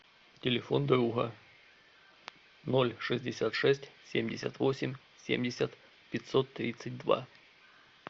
телефон друга ноль шестьдесят шесть семьдесят восемь семьдесят пятьсот тридцать два